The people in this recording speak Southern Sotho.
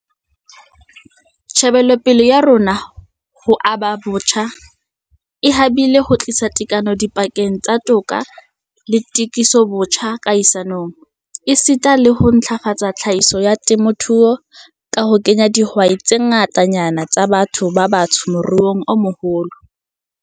Tjhebelopele ya rona ya ho aba botjha e habile ho tlisa tekano dipakeng tsa toka le tokisobotjha kahisanong, esita le ho ntlafatsa tlhahiso ya temothuo ka ho kenya dihwai tse ngatanyana tsa batho ba batsho moruong o moholo.